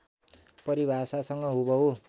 परिभाषासँग हुबहु